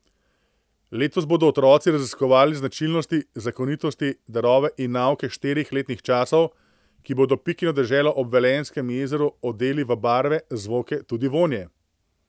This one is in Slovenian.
Letos bodo otroci raziskovali značilnosti, zakonitosti, darove in nauke štirih letnih časov, ki bodo Pikino deželo ob Velenjskem jezeru odeli v barve, zvoke, tudi vonje.